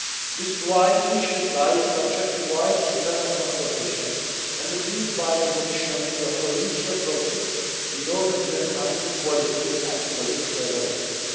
This is why each reply is subject to wide internal consultation and agreed by the Commission through a collegial process, in order to enhance the quality and political relevance.